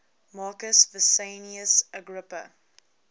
marcus vipsanius agrippa